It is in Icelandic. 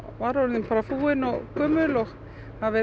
var orðin fúin og gömul og það